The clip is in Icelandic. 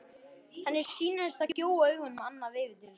Henni sýnist hann gjóa augunum annað veifið til sín.